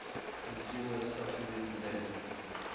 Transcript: consumer subsidies led